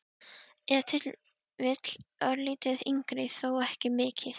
Ef til vill örlítið yngri, þó ekki mikið.